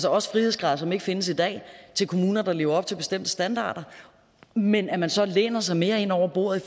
også frihedsgrader som ikke findes i dag til kommuner der lever op til bestemte standarder men at man så læner sig mere ind over bordet i